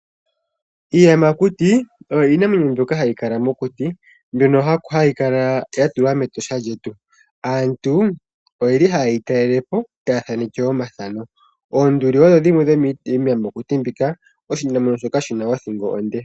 Iiyamakuti oyo iinamwenyo mbyono hayi kala mokuti, mbyono hayi kala ya tulwa mEtosha lyetu. Aantu ohaye yi talele po taya thaneke omathano. Oonduli odho dhimwe dhomiiyamakuti mbika. Oshinamwenyo shoka shi na othingo onde.